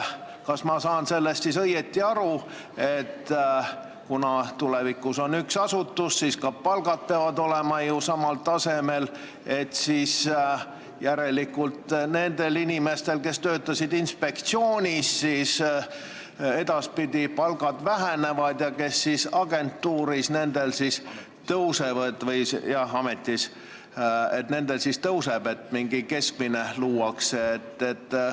Kas ma saan siis õigesti aru, et kuna tulevikus on üks asutus ja ka palgad peavad olema samal tasemel, siis järelikult nendel inimestel, kes töötasid inspektsioonis, edaspidi palgad vähenevad, ja nendel, kes töötavad praegu ametis, tõusevad ja luuakse mingi keskmine?